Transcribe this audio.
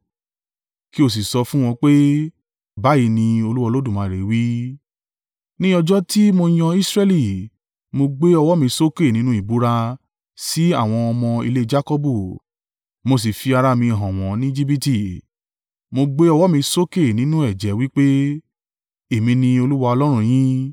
kí ó sì sọ fún wọn pé, ‘Báyìí ní Olúwa Olódùmarè wí, ní ọjọ́ tí mo yàn Israẹli, mo gbé ọwọ́ mi sókè nínú ìbúra sí àwọn ọmọ ilé Jakọbu, mo sì fi ara mi hàn wọn ní Ejibiti, mo gbé ọwọ́ mi sókè nínú ẹ̀jẹ́ wí pé, “Èmi ni Olúwa Ọlọ́run yín.”